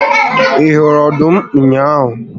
Ị hụrụ ọdụm ụnyaahụ?